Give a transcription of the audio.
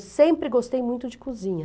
Eu sempre gostei muito de cozinha.